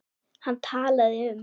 Hann talaði um